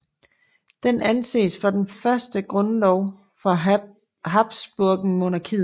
Den anses for den første grundlov for habsburgermonarkiet